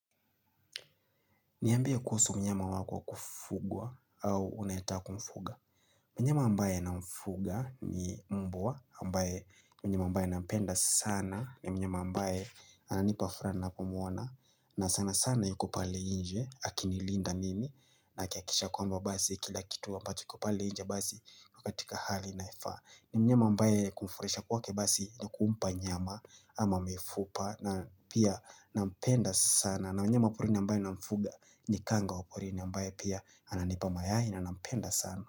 Niambie kuhusu mnyama wako kufugwa au unaita kumfuga. Mnyama ambaye namfuga ni mbwa, ambaye ni mnyama ambaye nampenda sana, ni mnyama ambaye ananipa furaha ninapomwona, na sana sana yuko pale nje, akinilinda nimi, na akihakikisha kwamba basi kila kitu ambacho kiko pale nje basi iko katika hali inayefaa. Ni mnyama ambaye kumfurahisha kwake basi ni kumpa nyama ama mifupa, na pia nampenda sana, na mnyama wa porini ambaye namfuga ni kanga wa porini ambaye pia ananipa mayai na nampenda sana.